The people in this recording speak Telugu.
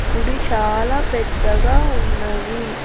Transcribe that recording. గుడి చాలా పెద్దగా ఉన్నది.